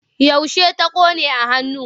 Yaushe ta ƙone a hannu?